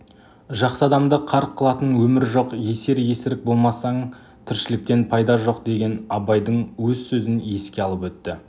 жақсы адамды қарқ қылатын өмір жоқ есер-есірік болмасаң тіршіліктен пайда жоқ деген абайдың өз сөзін еске алып өтті